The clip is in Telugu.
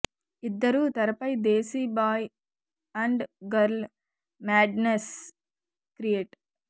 ఇద్దరూ తెరపై desi boy and girl madness create